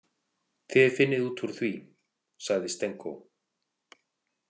Þið finnið út úr því, sagði Stenko.